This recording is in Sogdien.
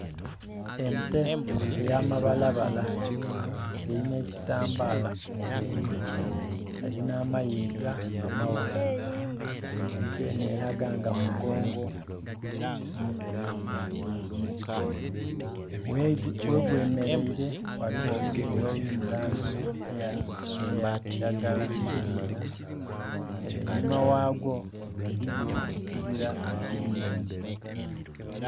Ente eyamabalabala nga erinha kitambala mubweni, erina amayiga amaghanvu, ente enho eraga nga mugongo omukulu ghegwemerere ghaligho obusuubi obulimulangyi eyakyiragala ere'inhuma ghagwo eriyo ekyibira ekyiriyo